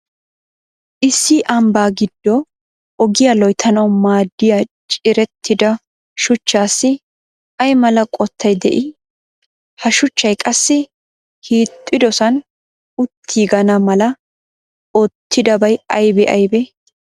Issi ambaa giddo ogiya loyttanawu maadiya ciirettida shuchchassi ay mala qottay de"ii? Ha shuchchay qassi hiixxiddossan uttiiganna mala oottidabay aybee aybee?